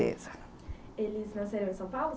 Eles nasceram em São Paulo?